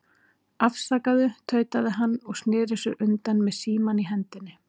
Afsakaðu, tautaði hann og sneri sér undan með símann í hendinni.